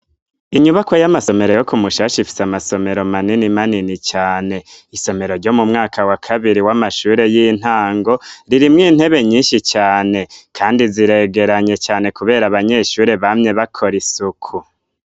Inyubakwa y'amasomero yo ku mushasha ifise amasomero manini manini cyane isomero ryo mu mwaka wa kabiri w'amashuri y'intango ririmwe intebe nyinshi cane kandi ziregeranye cane kubera abanyeshuri bamye bakora isuku.